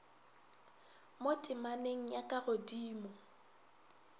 mo temaneng ya ka godimo